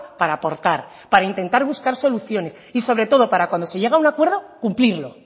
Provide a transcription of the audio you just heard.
para aportar para intentar buscar soluciones y sobre todo para cuando se llega a un acuerdo cumplirlo